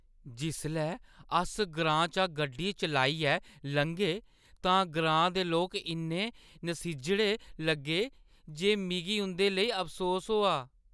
जिसलै अस ग्रांऽ चा गड्डी चलाइयै लंघे तां ग्रांऽ दे लोक इन्ने नसिज्जड़े लग्गे जे मिगी उंʼदे लेई अफसोस होआ।